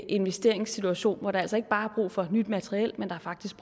investeringssituation hvor der altså ikke bare er brug for nyt materiel men der faktisk